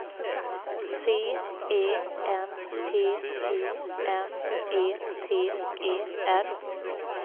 C E N T I M E T E R